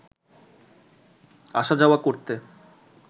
আসা-যাওয়া করতে